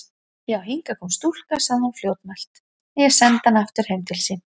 Já, hingað kom stúlka, sagði hún fljótmælt,-en ég sendi hana aftur heim til sín.